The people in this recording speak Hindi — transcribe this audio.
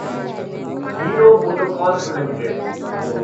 hero MotoCorp limited